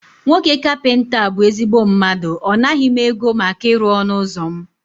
Nwoke kapịnta a bụ ezigbo mmadụ, ọ naghị m ego maka ịrụ ọnụ ụzọ mụ